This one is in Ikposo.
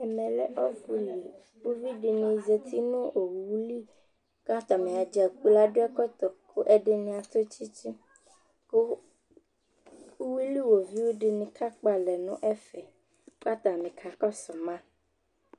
ɛmɛ lɛ ɔƒʋli ʋvidini zati nʋ ɔwʋli kʋ atami dza gblɔɔ adʋ ɛkɔtɔ kʋ ɛdini atʋ tsitsi kʋ ʋwili iwɔviʋ dini ka kpɔ alɛ nʋ ɛƒɛ kʋ atani kakɔsʋ ma